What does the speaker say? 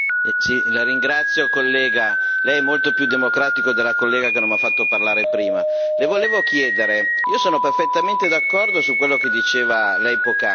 La ringrazio onorevole, Lei è molto più democratico dell'onorevole che non mi ha fatto parlare prima. Le volevo chiedere, io sono perfettamente d'accordo su quello che diceva Lei poc'anzi.